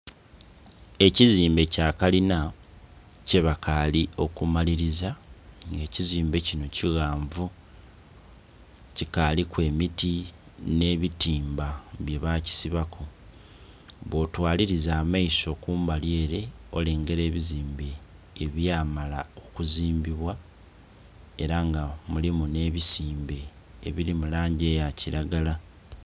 Ekizimbe kya kalina kye bakaali okumaliliza, nga ekizimbe kino kighanvu, kikaaliku emiti ne bitimba byebakisibaku. Bwotwaliliza amaiso kumbali ele olengela ebizimbe ebyamala okuzimbibwa, ela nga mulimu nh'ebisimbe ebili mu langi eya kilagala